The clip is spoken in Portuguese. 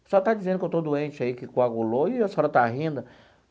O pessoal está dizendo que eu estou doente aí, que coagulou, e a senhora está rindo.